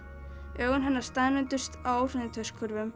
augu hennar staðnæmdust á